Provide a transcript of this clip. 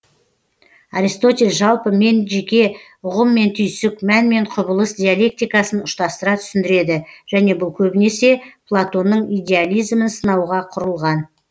аристотель жалпы мен жеке ұғым мен түйсік мән мен құбылыс диалектикасын ұштастыра түсіндіреді және бұл көбінесе платонның идеализмін сынауға құрылған